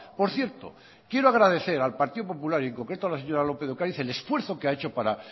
por cierto quiero agradecer al partido popular y en concreto a la señor lópez de ocariz el esfuerzo que ha hecho para